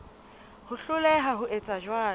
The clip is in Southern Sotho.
ho hloleha ho etsa jwalo